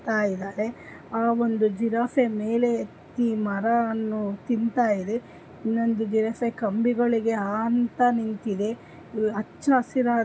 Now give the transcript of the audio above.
ಆ ಜಿರಾಫೆ ಮೇಲೆ ಇ ಮರಾ ಅನ್ನು ತಿಂತಾಯಿದೆ ಇನ್ನೊಂದು ದಿನಸೆ ಕಂಬಿಗಳಿಗೆ ಆಂತ ನಿಂತಿದೆ ಅಚ್ಚ ಹಸಿರಾದ--